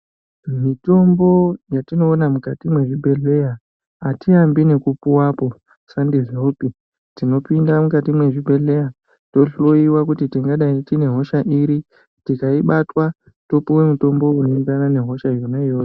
Mitombo yatinoona mukati mwezvibhedhleya atiambi nekupuwapo sandizvopi tinopinda mukati mwezvibhedhleya tohloyiwa kuti tingadai tine hosha iri tikaibatwa topuwa mutombo unoenderana nehosha yona iyoyo.